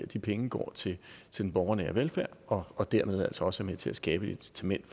de penge går til den borgernære velfærd og dermed altså også er med til at skabe et incitament